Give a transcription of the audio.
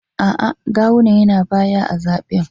A’a, Gawuna yana baya a zaɓen